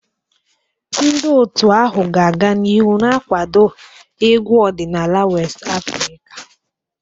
Ndị otu ahụ ga-aga n'ihu na-akwado egwu ọdịnala West Afrika.